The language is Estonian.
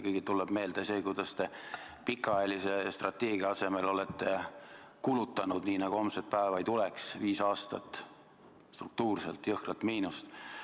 Kõigile tuleb meelde see, kuidas te pikaajalise strateegia järgimise asemel olete kulutanud nii, nagu homset päeva ei tuleks: viis aastat struktuurselt jõhkrat miinust.